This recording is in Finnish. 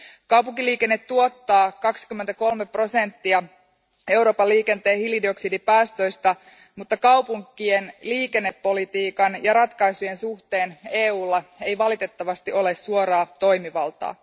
Kaupunkiliikenne tuottaa 23 prosenttia Euroopan liikenteen hiilidioksidipäästöistä, mutta kaupunkien liikennepolitiikan ja ratkaisujen suhteen EUlla ei valitettavasti ole suoraa toimivaltaa.